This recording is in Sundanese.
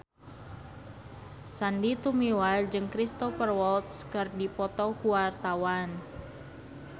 Sandy Tumiwa jeung Cristhoper Waltz keur dipoto ku wartawan